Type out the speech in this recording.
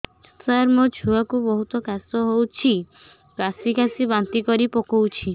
ସାର ମୋ ଛୁଆ କୁ ବହୁତ କାଶ ହଉଛି କାସି କାସି ବାନ୍ତି କରି ପକାଉଛି